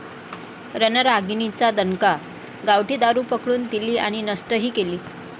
रणरागिणींचा दणका, गावठी दारू पकडून दिली आणि नष्टही केली!